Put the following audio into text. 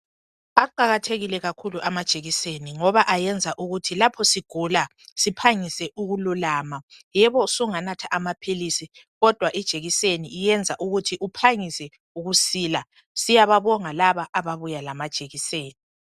Aqakathekile kakhulu amajekiseni ngoba ayenza ukuthi lapho sigula siphangise ukululama yebo usunga natha ama philizi kodwa ijekiseni ikuyenza ukuthi uphangise ukusila siyababonga kakhulu laba ababuya lama jekiseni.